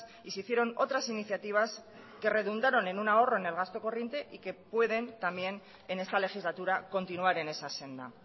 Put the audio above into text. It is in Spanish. y se hicieron otras iniciativas que redundaron en un ahorro en el gasto corriente y que pueden también en esta legislatura continuar en esa senda